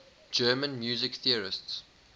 german music theorists